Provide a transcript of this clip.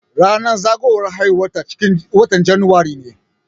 Ranar zagowar haihuwar ta ciƙin watan januari ne.